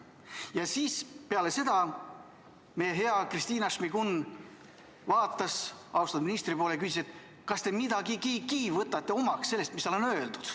Ja siis peale seda vaatas meie hea Kristina Šmigun-Vähi austatud ministri poole ja küsis, et kas te midagigi võtate omaks sellest, mis teile on öeldud.